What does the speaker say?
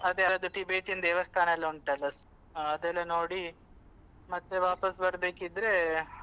ಅದೇ ಅದು Tibetan ದೇವಸ್ಥಾನ ಎಲ್ಲ ಉಂಟಲ್ಲ ಅದೆಲ್ಲ ನೋಡಿ ಮತ್ತೆ ವಾಪಾಸ್ ಬರ್ಬೇಕಿದ್ರೆ.